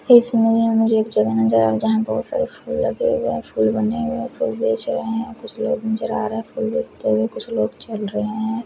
मुझे एक जगह नजर आ रही है जहाँ बहोत सारे फुल लगे हुए है फुल बने हुए है फिर बेच रहे है कुछ लोग नजर आ रहे है फुल बेचते हुए कुछ लोग चल रहे है।